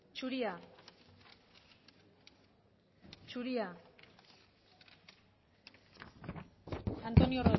zuria zuria antonio